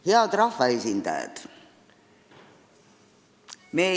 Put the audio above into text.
Head rahvaesindajad!